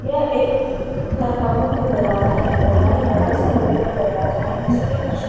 यह एक घर का मुख्य दरवाजा है। दरवाजा लोहे का बड़ा सा दरवाजा है। इस पे कुछ --